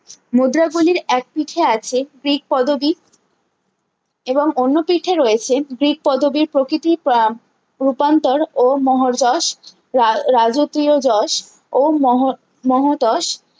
মুদ্রা গুলির এক পিঠে আছে গ্রীক পদবী এবং অন্য পিঠে রয়েছে গ্রীক পদবির প্রকৃতি প রূপান্তর ও মোহজশ রা রাজকীয় জোশ ও মোহো মোহোতোষ